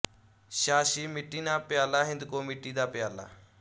ਛਾਛੀ ਮਿੱਟੀ ਨਾ ਪਿਆਲਾ ਹਿੰਦਕੋ ਮਿੱਟੀ ਦਾ ਪਿਆਲਾ